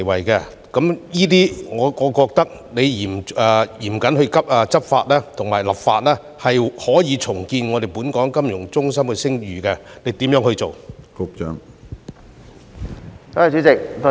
就此，我認為只要嚴謹立法和執法，便可以重建本港金融中心的聲譽，局長會如何做呢？